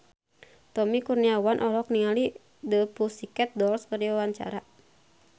Tommy Kurniawan olohok ningali The Pussycat Dolls keur diwawancara